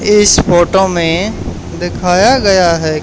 इस फोटो में दिखाया गया है --